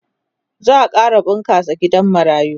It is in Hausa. za'a ƙara bunƙasa gidan marayu